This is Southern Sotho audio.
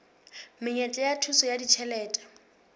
menyetla ya thuso ya ditjhelete